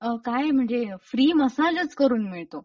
काये म्हणजे फ्री मसाजच करून मिळतो.